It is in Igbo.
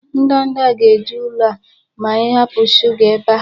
Ndanda ga-eju ụlọ a ma ị hapụ shuga ebe a.